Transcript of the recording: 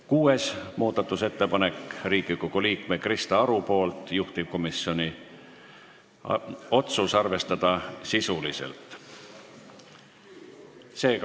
Kuues muudatusettepanek on Riigikogu liikmelt Krista Arult, juhtivkomisjoni otsus: arvestada sisuliselt.